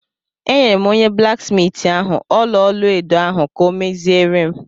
Enyere m onye blaksmiiti ahụ ọla-olu edo ahụ ka ọ meziere m.